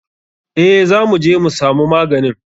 Eh za muje mu samu maganin.